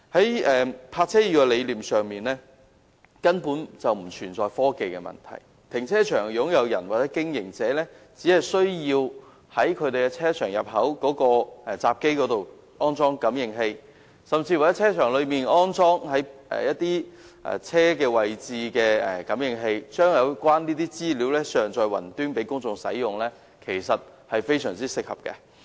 "易泊車"的理念根本不存在科技的問題，停車場擁用人或經營者只需要在其停車場入口閘機上安裝感應器，甚至在停車場內的泊車位上安裝汽車感應器，將有關的資料上載雲端，讓公眾使用，這其實是非常合適的做法。